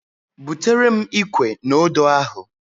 Butere m Ikwe na Odo ahu